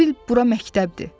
Elə bil bura məktəbdir.